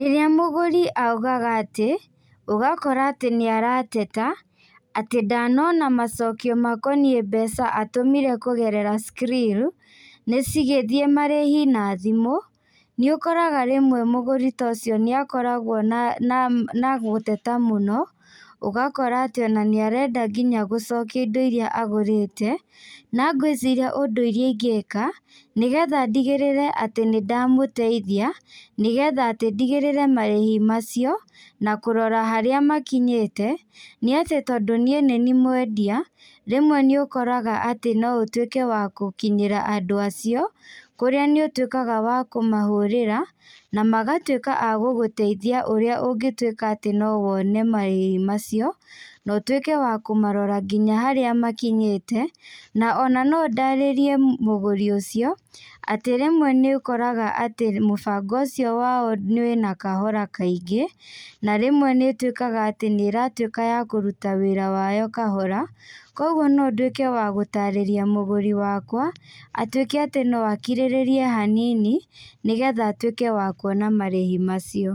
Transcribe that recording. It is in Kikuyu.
Rĩrĩa mũgũri augaga atĩ, ũgakora atĩ nĩarateta, atĩ ndanona macokio makoniĩ mbeca atũmire kũgerera Skrill, nĩcigĩthiĩ marĩhi na thimũ, nĩũkoraga rĩmwe mũgũri ta ũcio nĩakoragwo na na ma na gũteta mũno, ũgakora atĩ ona nĩarenda nginya gũcokia indo iria agũrĩte, na ngwĩciria ũndũ ũrĩa ingĩka, nĩgetha ndigĩrĩre atĩ nĩndamũteithia, nĩgetha atĩ ndigĩrĩre marĩhi macio, na kũrora harĩa makinyĩte, nĩatĩ tondũ niĩ nĩniĩ mwendia, rĩmwe nĩũkoraga atĩ no ũtuĩke wa kũkinyĩra andũ acio, kũrĩa nĩ ũtuĩkaga wa kũmahũrĩra, namagatuĩka a gũgũteithia ũrĩa ũngĩtuĩka atĩ no wone marĩhi macio, na ũtuĩke na kũmarora nginya harĩa makinyĩte, na ona nondarĩrie mũgũri ũcio, atĩ rĩmwe nĩũkoraga atĩ mũbango ũcio wao nĩ wĩna kahora kaingĩ, na rĩmwe nĩituĩkaga atĩ nĩratuĩka ya kũruta wĩra wayo kahora, koguo no ndũĩke wa gũtarĩria mũgũri wakwa, atuĩke atĩ no akirĩrĩrie hanini, nĩgetha atuĩke wa kuona marĩhi macio.